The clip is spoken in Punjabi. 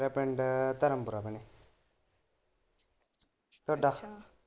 ਮੇਰਾ ਪਿੰਡ ਧਰਮਪੁਰਾ ਭੈਣੇ ਤਾਡਾ?